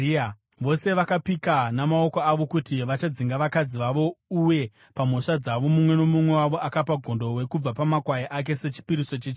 (Vose vakapika namaoko avo kuti vachadzinga vakadzi vavo, uye pamhosva dzavo mumwe nomumwe wavo akapa gondobwe kubva pamakwai ake sechipiriso chechivi.)